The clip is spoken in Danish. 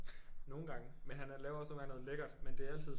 Nogle gange men han laver også nogle gange noget lækkert men det er altid